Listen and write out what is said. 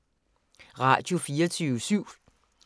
Radio24syv